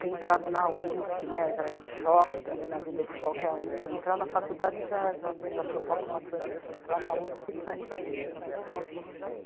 ter entrado na u sê pê, já é um choque também na vida de qualquer um, entrar na faculdade já provoca uma transição, entrar na u sê pê mais ainda.